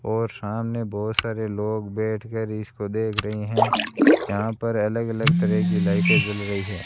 और सामने बहुत सारे लोग बैठ कर इसको देख रहे हैं यहां पर अलग अलग तरह की लाइटें जल रही है।